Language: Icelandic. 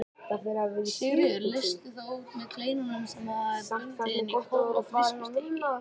Sigríður leysti þá út með kleinum sem hún hafði bundið inn í köflótt viskustykki.